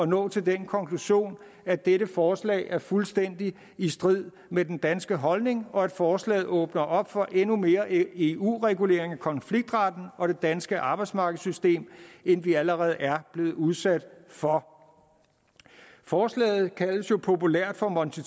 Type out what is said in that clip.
nå til den konklusion at dette forslag er fuldstændig i strid med den danske holdning og at forslaget åbner op for endnu mere eu regulering af konfliktretten og det danske arbejdsmarkedssystem end vi allerede er blevet udsat for forslaget kaldes jo populært for monti